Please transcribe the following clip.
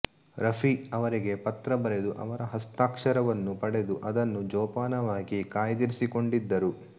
ರಫಿ ಅವರಿಗೆ ಪತ್ರ ಬರೆದು ಅವರ ಹಸ್ತಾಕ್ಷರವನ್ನು ಪಡೆದು ಅದನ್ನು ಜೋಪಾನವಾಗಿ ಕಾಯ್ದಿರಿಸಿಕೊಂಡಿದ್ದರು